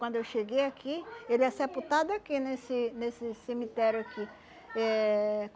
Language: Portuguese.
Quando eu cheguei aqui, ele é sepultado aqui, nesse nesse cemitério aqui. Eh